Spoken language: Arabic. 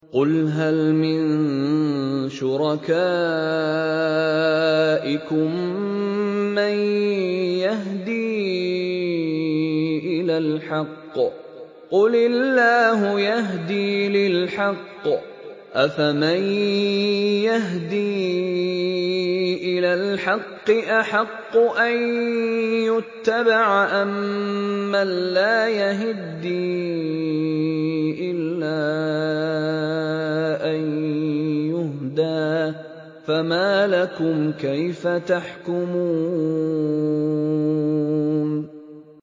قُلْ هَلْ مِن شُرَكَائِكُم مَّن يَهْدِي إِلَى الْحَقِّ ۚ قُلِ اللَّهُ يَهْدِي لِلْحَقِّ ۗ أَفَمَن يَهْدِي إِلَى الْحَقِّ أَحَقُّ أَن يُتَّبَعَ أَمَّن لَّا يَهِدِّي إِلَّا أَن يُهْدَىٰ ۖ فَمَا لَكُمْ كَيْفَ تَحْكُمُونَ